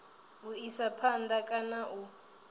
u isa phanda kana u